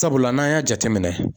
Sabula n'an y'a jateminɛ.